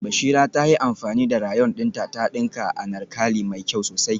Bashira ta yi amfani da rayon dinta ta dinka anarkali mai kyau sosai